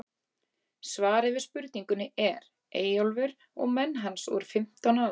Svarið við spurningunni er: Eyjólfur og menn hans voru fimmtán alls.